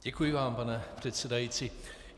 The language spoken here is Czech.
Děkuji vám, pane předsedající.